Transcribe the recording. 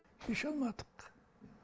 шеше алмадық